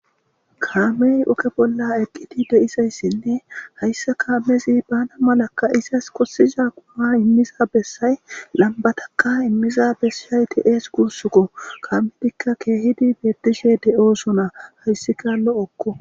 Kaame ooge bollaeqqidi dizaysine Hausa kamezi malakayiza Maskosiza imiza Besay lambataka imiza Besay de'esko Gusuko Kehidi betishe de'esona Hesika lo'oko